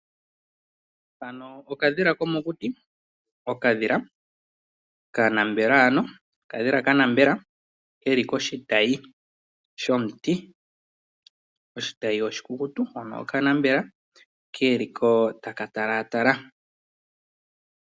Hano okadhila ko mokuti, okadhila ka na mbela ano, okadhila ka nambela ke li koshitayi shomuti, oshitayi oshi ku kukutu, ke li ko ta ka talatala.